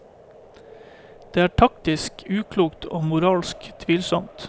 Det er taktisk uklokt og moralsk tvilsomt.